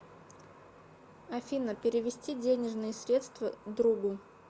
афина перевести денежные средства другу